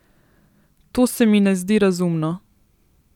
To se mi ne zdi razumno.